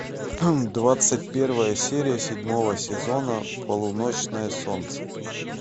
двадцать первая серия седьмого сезона полуночное солнце